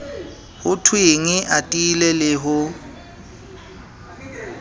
ho thwenge atile le ho